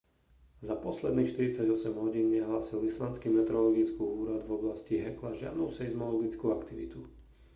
za posledných 48 hodín nehlásil islandský meteorologický úrad v oblasti hekla žiadnu seizmologickú aktivitu